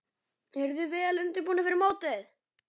Eruð þið vel undirbúnir fyrir mótið?